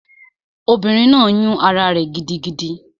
Obìnrin náà yún ará rẹ̀ gidigidi